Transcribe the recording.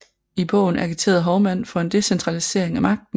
I bogen agiterede Hovmand for en decentralisering af magten